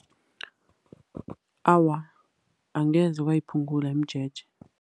Awa, angeze kwayiphungula imijeje.